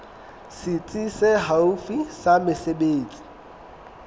setsi se haufi sa mesebetsi